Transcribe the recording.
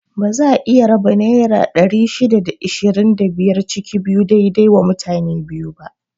Baza a iya raba naira ɗari shida da ishirin da biyar ciki biyu dai dai wa mutane biyu ba